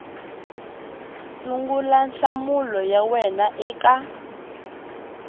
sungula nhlamulo ya wena eka